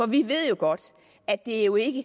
vi ved jo godt at det jo ikke